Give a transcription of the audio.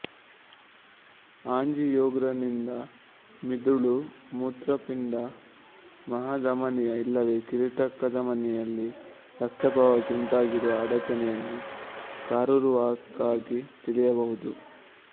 ಆಂಜಿಯೋಗ್ರಾಂನಿಂದ ಮಿದುಳು ಮೂತ್ರಪಿಂಡ ಮಹಾ ಧಮನಿಯ ಇಲ್ಲವೆ ಕಿರೀಟ ಕಧಮನಿಯಲ್ಲಿ ರಕ್ತ ಪ್ರವಾಹಕ್ಕೆ ಉಂಟಾಗಿರುವ ಅಡಚಣೆಯನ್ನು ಕರಾರುವಾಕ್ಕಾಗಿ ತಿಳಿಯಬಹುದು